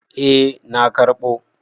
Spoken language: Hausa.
Eh na karɓo.